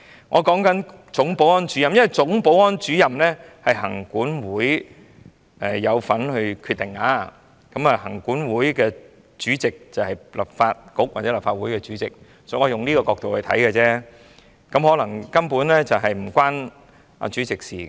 我在說總保安主任，因為總保安主任的薪酬是行政管理委員會有份決定的，而行政管理委員會主席，便是立法局或立法會主席，我是從這個角度看而已，可能事情根本與主席無關也說不定。